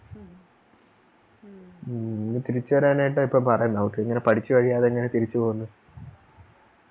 ഉം ഇനി തിരിച്ചു വരാനായിട്ട ഇപ്പൊ പറയുന്നേ അവർക്കിങ്ങനെ പഠിച്ചുകഴിയാതെങ്ങനെ തിരിച്ചു പോകുന്നെ